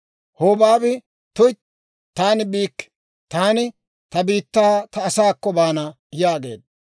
Hobaabi, «Tuytti, taani biikke; taani ta biittaa ta asaakko baana» yaageedda.